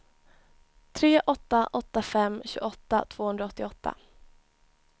tre åtta åtta fem tjugoåtta tvåhundraåttioåtta